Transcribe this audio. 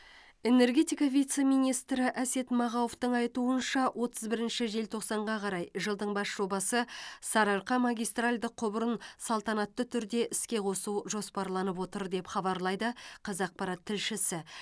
энергетика вице министрі әсет мағауовтың айтуынша отыз бірінші желтоқсанға қарай жылдың бас жобасы сарыарқа магистральді құбырын салтанатты түрде іске қосу жоспарланып отыр деп хабарлайды қазақпарат тілшісі